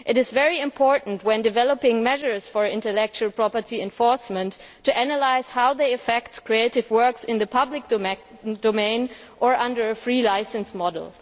It is very important when developing measures for intellectual property enforcement to analyse how they affect creative works in the public domain or under a free licence model.